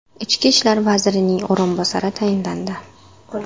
Ichki ishlar vazirining o‘rinbosari tayinlandi.